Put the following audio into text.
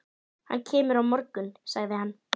Hann kemur á morgun, sagði hann.